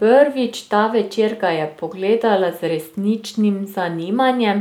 Prvič ta večer ga je pogledala z resničnim zanimanjem,